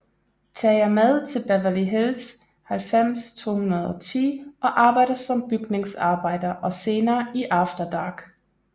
Tager med til Beverly Hills 90210 og arbejder som bygningsarbejder og senere i After Dark